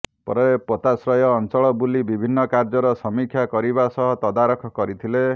ପରେ ପୋତାଶ୍ରୟ ଅଞ୍ଚଳ ବୁଲି ବିଭିନ୍ନ କାର୍ଯ୍ୟର ସମୀକ୍ଷା କରିବା ସହ ତଦାରଖ କରିଥିଲେ